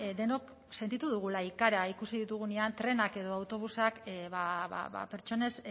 denok sentitu dugula ikara ikusi ditugunean trenak edo autobusak ba pertsonez